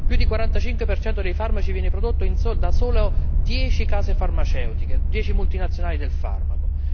Più del 45 dei farmaci viene prodotto da solo dieci case farmaceutiche, dieci multinazionali del farmaco.